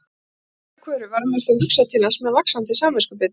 Alltaf öðru hverju varð mér þó hugsað til hans með vaxandi samviskubiti.